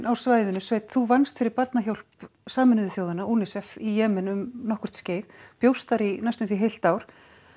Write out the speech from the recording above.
á svæðinu sveinn þú vannst fyrir Barnahjálp Sameinuðu þjóðanna UNICEF í Jemen um nokkurt skeið bjóst þar í hálft ár